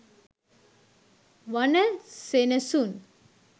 වනසෙනසුන්,